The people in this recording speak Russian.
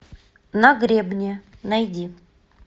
на гребне найди